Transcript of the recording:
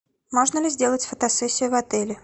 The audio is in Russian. можно ли сделать фотосессию в отеле